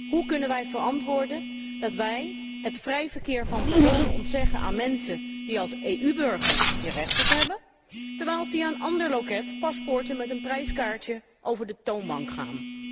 Hoe kunnen wij verantwoorden dat wij het vrije verkeer van personen ontzeggen aan mensen die als EU burgers hier recht op hebben, terwijl via een ander loket paspoorten met een prijskaartje over de toonbank gaan.